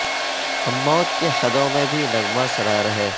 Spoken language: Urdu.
ہم موت کی حدوں میں بھی نغمہ سرا رہے